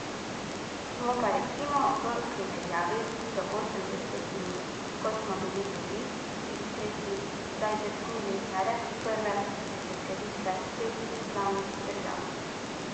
Smo pa recimo v primerjavi z osemdesetimi, ko smo bili drugi, tretji, zdaj zdrsnili na rep prve deseterice teh neslavnih držav.